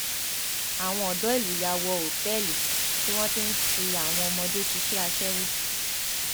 àwọn ọdọ ìlú yà wọ òtẹẹlì tí wọn ti ń fi àwọn ọmọdé ṣiṣẹ aṣẹwó